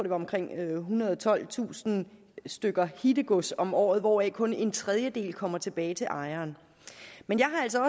er omkring ethundrede og tolvtusind stykker hittegods om året hvoraf kun en tredjedel kommer tilbage til ejeren men jeg har altså